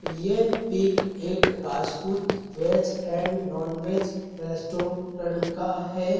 ये पिक एक Rajput veg and non veg restaurant का है।